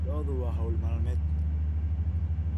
Lo'du waa hawl maalmeed.